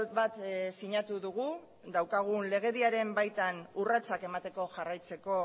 bat sinatu dugu daukagun legediaren baitan urratsak emateko jarraitzeko